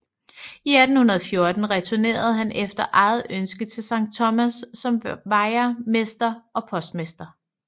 I 1814 returnerer han efter eget ønske til Sankt Thomas som vejermester og postmester